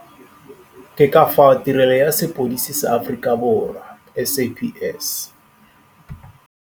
Ke ka fao Tirelo ya Sepodisi sa Aforikaborwa, SAPS.